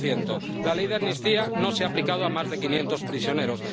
5 La ley de amnistía no se ha aplicado a más de quinientos prisioneros.